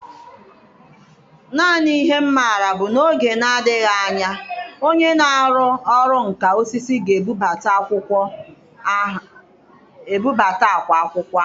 Naanị ihe m maara bụ na n'oge na-adịghị anya onye na-ọrụ nka osisi ga-ebubata akwa akwụkwọ ahụ.